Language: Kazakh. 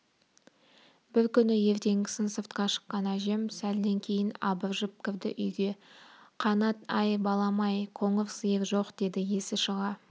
бір күні ертеңгісін сыртқа шыққан әжем сәлден кейін абыржып кірді үйге қанат-ай балам-ай қоңыр сиыр жоқ деді есі шыға